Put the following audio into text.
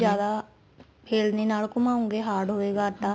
ਜਿਆਦਾ ਚਿਲਨੀ ਨਾਲ ਘੁੰਮਾਉਗੇ hard ਹੋਏਗਾ ਆਟਾ